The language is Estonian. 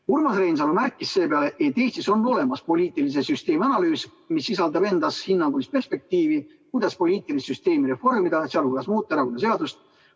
Urmas Reinsalu märkis seepeale, et Eestis on olemas poliitilise süsteemi analüüs, mis sisaldab endas hinnangulist perspektiivi, kuidas poliitilist süsteemi reformida, sh muuta erakonnaseadust.